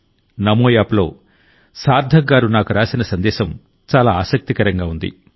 నమో యాప్లో సార్థక్ గారు నాకు రాసిన సందేశం చాలా ఆసక్తికరంగా ఉంది